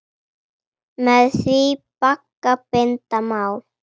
Með því bagga binda má.